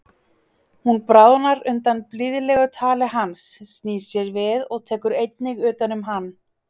Hún bráðnar undan blíðlegu tali hans, snýr sér við og tekur einnig utan um hann.